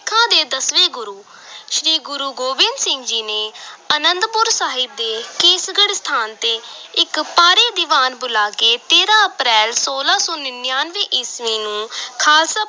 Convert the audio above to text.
ਸਿੱਖਾਂ ਦੇ ਦਸਵੇਂ ਗੁਰੂ ਸ੍ਰੀ ਗੁਰੂ ਗੋਬਿੰਦ ਸਿੰਘ ਜੀ ਨੇ ਅਨੰਦਪੁਰ ਸਾਹਿਬ ਦੇ ਕੇਸਗੜ੍ਹ ਸਥਾਨ ਤੇ ਇਕ ਭਾਰੀ ਦੀਵਾਨ ਬੁਲਾ ਕੇ ਤੇਰਾਂ ਅਪ੍ਰੈਲ, ਛੋਲਾਂ ਸੌ ਨੜ੍ਹਿਨਵੇਂ ਈਸਵੀ ਨੂੰ ਖ਼ਾਲਸਾ